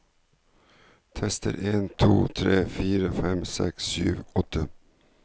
Tester en to tre fire fem seks sju åtte